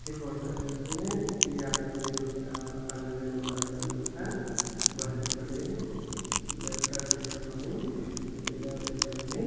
ఈ ఫోటో లో చూస్తే యాదగిరిగుట్ట . పల్లె వెలుగు బస్సు అన్న మాట. బస్సు ఇపుడే లెఫ్ట్ టర్న్ తీసుకొని ముందుగా వెళుతుంది.